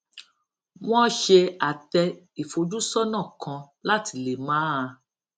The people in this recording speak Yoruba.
wọn ṣe àtẹ ìfojúsónà kan láti lè máa